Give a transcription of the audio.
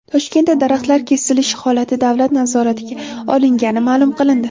Toshkentda daraxtlar kesilishi holati davlat nazoratiga olingani ma’lum qilindi.